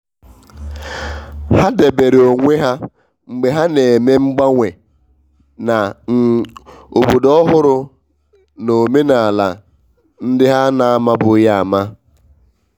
ha dabere na onwe ha mgbe ha n'eme mgbanwe na um obodo ọhụrụ na omenala ndị ha na amabughị ama.